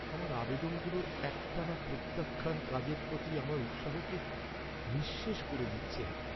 আমার আবেদনগুলোর একটানা প্রত্যাখ্যান কাজের প্রতি আমার উৎসাহকে নিঃশেষ করে দিচ্ছে।